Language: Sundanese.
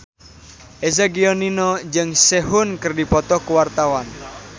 Eza Gionino jeung Sehun keur dipoto ku wartawan